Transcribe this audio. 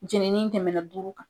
Jenni tɛmɛna duuru kan